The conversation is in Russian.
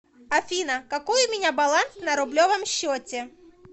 афина какой у меня баланс на рублевом счете